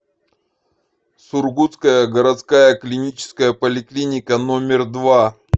сургутская городская клиническая поликлиника номер два